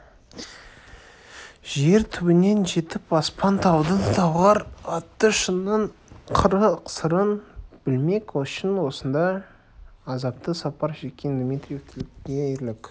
жер түбінен жетіп аспан-таудың талғар атты шыңының қыры-сырын білмек үшін осынша азапты сапар шеккен дмитриевтікі де ерлік